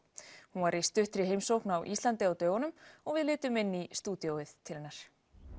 hún var í stuttri heimsókn á Íslandi á dögunum og við litum inn í stúdíóið til hennar